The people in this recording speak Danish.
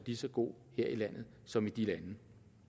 lige så god her i landet som i de lande